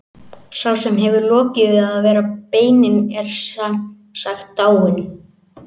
Sá sem hefur lokið við að bera beinin er sem sagt dáinn.